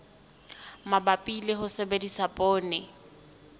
mabapi le ho sebedisa poone